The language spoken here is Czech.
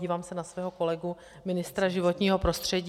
Dívám se na svého kolegu ministra životního prostředí.